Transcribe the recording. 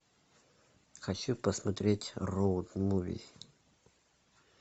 хочу посмотреть роуд муви